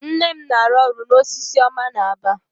Nne m na-arụ ọrụ na Osisioma n'Aba.